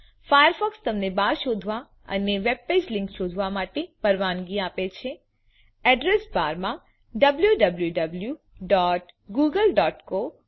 Firefox તમને bar શોધવા અને વેબ પેજમાં લિંક્સ શોધવા માટેની પરવાનગી આપે છે અડ્રેસ બારમાં ડબ્લ્યુડબ્લ્યૂવી